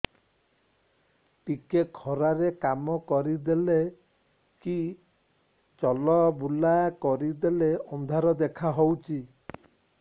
ଟିକେ ଖରା ରେ କାମ କରିଦେଲେ କି ଚଲବୁଲା କରିଦେଲେ ଅନ୍ଧାର ଦେଖା ହଉଚି